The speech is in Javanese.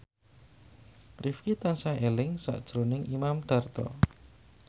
Rifqi tansah eling sakjroning Imam Darto